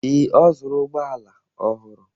Ee, ọ zụrụ ụgbọala ọhụrụ.